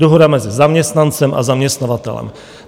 Dohoda mezi zaměstnancem a zaměstnavatelem.